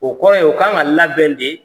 O kɔrɔ ye u k'an ka labɛn de.